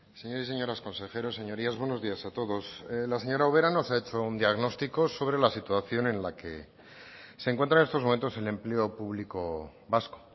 señores señoras consejeros señorías buenos días a todos la señora ubera nos ha hecho un diagnóstico sobre la situación en la que se encuentra en estos momentos el empleo público vasco